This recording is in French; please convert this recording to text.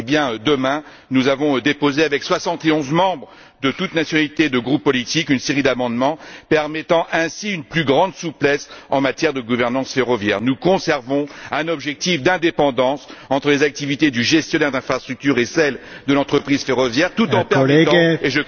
Pour demain, nous avons déposé, avec soixante et onze membres de toutes nationalités et de différents groupes politiques, une série d'amendements permettant ainsi une plus grande souplesse en matière de gouvernance ferroviaire. Nous conservons un objectif d'indépendance entre les activités du gestionnaire d'infrastructures et celles de l'entreprise ferroviaire tout en permettant... et,